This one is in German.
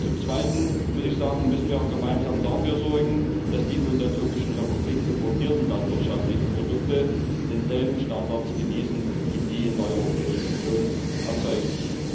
Zum Zweiten müssen wir auch gemeinsam dafür sorgen, dass die aus der Türkischen Republik importierten landwirtschaftlichen Produkte denselben Standard genießen wie die in der Europäischen Union erzeugten.